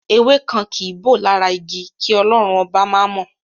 Ewé kan kìí bọ́ lára igi, kí Ọlọ́run Ọba má mọ̀.